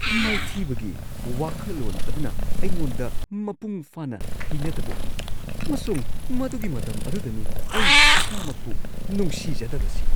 ꯃꯥꯏꯊꯤꯕꯒꯤ ꯋꯥꯈꯜꯂꯣꯟ ꯑꯗꯨꯅ ꯑꯩꯉꯣꯟꯗ ꯃꯄꯨꯡꯐꯥꯅ ꯍꯩꯅꯗꯕ ꯑꯣꯏ ꯑꯃꯁꯨꯡ ꯃꯗꯨꯒꯤ ꯃꯇꯝ ꯑꯗꯨꯗꯅꯤ ꯑꯩ ꯏꯁꯥꯃꯛꯄꯨ ꯅꯨꯡꯁꯤꯖꯗꯕꯁꯤ꯫